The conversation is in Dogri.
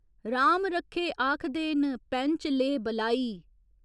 राम रक्खे आखदे न, पैंच ले बलाई।